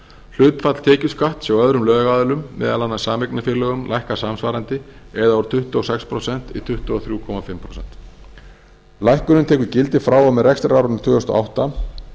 hlutfall tekjuskatts hjá öðrum lögaðilum meðal annars sameignarfélögum lækkar samsvarandi eða úr tuttugu og sex prósent í tuttugu og þrjú og hálft prósent lækkunin tekur gildi frá og með rekstrarárinu tvö þúsund og átta